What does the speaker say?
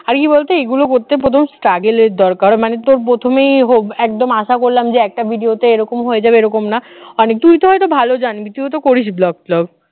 আর কি বলতো এগুলো করতে প্রথম struggle র দরকার মানে তোর প্রথমেই হোক একদম আশা করলাম যে একটা video তে এরকম হয়ে যাবে এরকম না তুইতো হয়তো ভালো জানবি তুইও তো করিস blog টগ